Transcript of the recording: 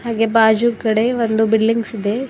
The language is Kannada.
ಹಾಗೆ ಬಾಜುಗದೆ ಒಂದು ಬಿಲ್ಡಿಂಗ್ಸ್ ಇದೆ.